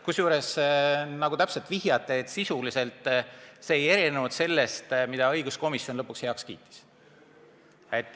Kusjuures sisuliselt ei erinenud see ettepanek sellest, mille õiguskomisjon lõpuks heaks kiitis.